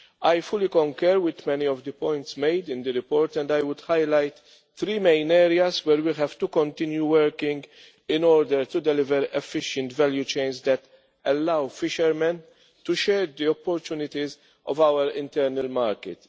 I fully concur with many of the points made in the report, and I would highlight three main areas where we have to continue working in order to deliver efficient value chains that allow fishermen to share the opportunities of our internal market.